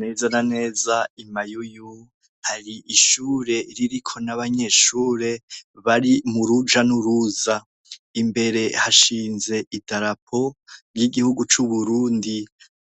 Neza na neza I Mayuyu hari ishure ririko n’abanyeshure Bari muruja nuruza. Imbere hashinze idarapo y’igihugu c’Uburundi.